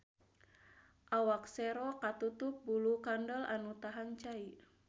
Awak sero katutup bulu kandel anu tahan cai.